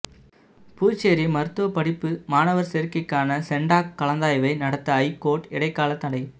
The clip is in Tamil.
புதுச்சேரி மருத்துவப் படிப்பு மாணவர் சேர்க்கைக்கான சென்டாக் கலந்தாய்வை நடத்த ஐகோர்ட் இடைக்கால தடை